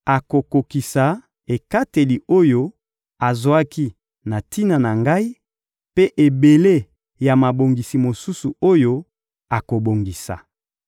Akokokisa ekateli oyo azwaki na tina na ngai mpe ebele ya mabongisi mosusu oyo akobongisa.